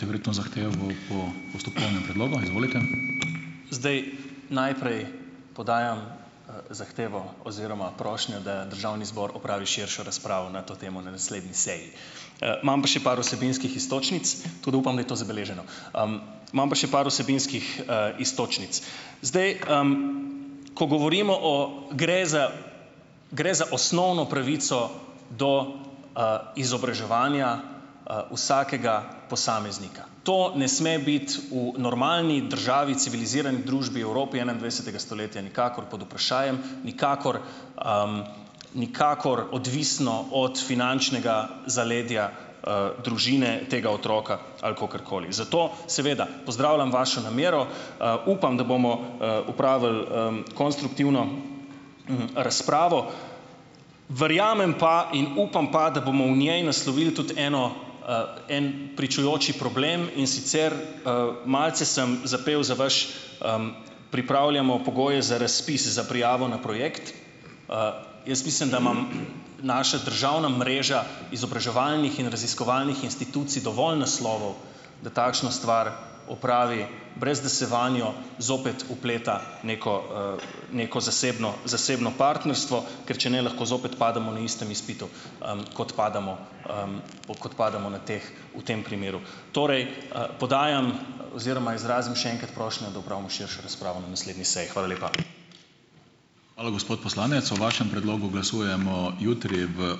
Zdaj, najprej podajam zahtevo oziroma prošnjo, da državni zbor opravi širšo razpravo na to temo na naslednji seji. imam pa še par vsebinskih iztočnic. Tudi upam, da je to zabeleženo. imam pa še par vsebinskih, iztočnic. Zdaj, ko govorimo o, gre za gre za osnovno pravico do, izobraževanja, vsakega posameznika. To ne sme biti v normalni državi, civilizirani družbi, Evropi enaindvajsetega stoletja nikakor pod vprašajem, nikakor, nikakor odvisno od finančnega zaledja, družine tega otroka ali kakorkoli. Zato seveda pozdravljam vašo namero. Upam, da bomo, opravili, konstruktivno, razpravo. Verjamem pa in upam pa, da bomo v njej naslovili tudi eno, en pričujoči problem, in sicer, malce sem zapel za vaš, pripravljamo pogoje za razpis za prijavo na projekt, Jaz mislim, da imam naša državna mreža izobraževalnih in raziskovalnih institucij dovolj naslovov, da takšno stvar opravi, brez da se vanjo zopet vpleta neko, neko zasebno zasebno partnerstvo, ker če ne, lahko zopet pademo na istem izpitu, kot padamo, kot padamo na teh v tem primeru. Torej, podajam oziroma izrazim še enkrat prošnjo, da opravimo širšo razpravo na naslednji seji. Hvala lepa.